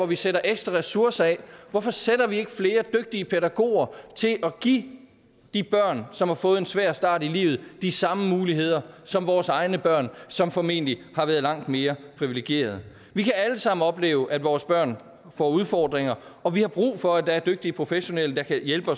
vi sætter ekstra ressourcer af hvorfor sætter vi ikke flere dygtige pædagoger til at give de børn som har fået en svær start i livet de samme muligheder som vores egne børn som formentlig har været langt mere privilegeret vi kan alle sammen opleve at vores børn får udfordringer og vi har brug for at der er dygtige professionelle der kan hjælpe